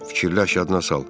Fikirləş yadina sal.